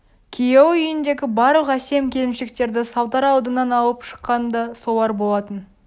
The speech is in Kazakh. күйеуі үйіндегі барлық әсем келіншектерді салдар алдынан алып шыққан да солар болатын